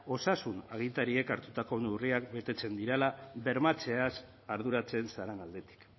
osasun agintariek hartutako neurriak betetzen direla bermatzeaz arduratzen zaren aldetik